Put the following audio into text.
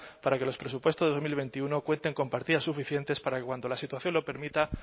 para que los presupuestos dos mil veintiuno cuenten con partidas suficientes para que cuando la situación lo permita